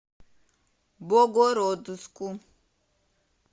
богородску